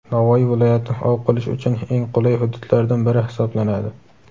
Navoiy viloyati ov qilish uchun eng qulay hududlardan biri hisoblanadi.